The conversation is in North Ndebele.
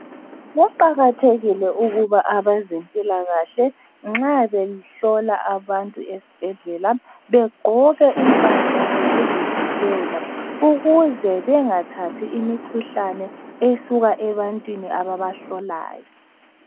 Kuqakathekile ukuba abezempilakahle nxa behlola abantu esibhedlela begqoke impahla zokuzivikela ukuze bengathathi imikhuhlane esuka ebantwini ababahlolayo.